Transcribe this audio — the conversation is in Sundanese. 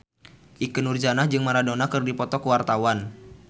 Ikke Nurjanah jeung Maradona keur dipoto ku wartawan